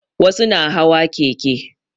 Wasu na hawa keke